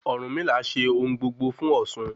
Ọ̀rúnmìlà ṣe ohun gbogbo fún osun